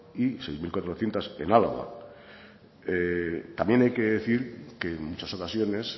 y seis mil cuatrocientos en álava también hay que decir que en muchas ocasiones